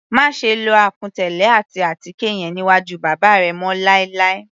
Máṣe lo àkùn tẹ́lẹ̀ àti àtíkè yẹn níwájú bàbá rẹ mọ́ láì láì.